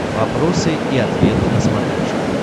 вопросы и ответы на смотрешке